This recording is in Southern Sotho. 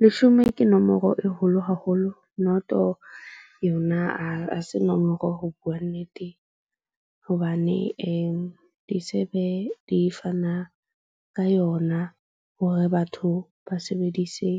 Leshome ke nomoro e holo haholo, noto yona ha se nomoro ho bua nnete. Hobane di se be di fana ka yona hore batho ba sebedise